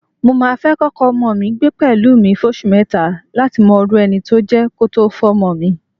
Mo máa fẹ́ kọ́kọ ọmọ mi gbé pẹ̀lú mi fóṣù mẹ́ta láti mọrú ẹni tó jẹ́ kó tó fọ́mọ mi.